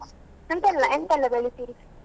ಎಂತೆಲ್ಲ ಎಂತೆಲ್ಲ ಬೆಳಿತೀರಿ?